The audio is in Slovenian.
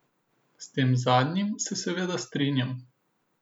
S tem zadnjim se seveda strinjam.